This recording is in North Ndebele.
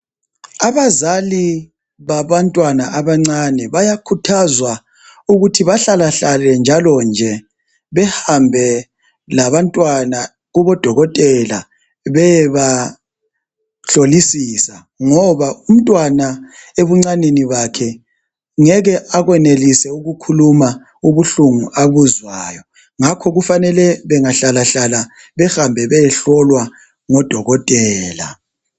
Abazali babantwana abancane, bayakhuthazwa ukuthi bahlalahlale njalo nje, behambe labantwana kubodokotela beyebahlolisisa. Ngoba umntwana ebuncaneni bakhe, ngeke akwenelise ukukhuluma ubuhlungu abuzwayo . Ngakho kufanele bangahlalahlala bahambe kubodokotela.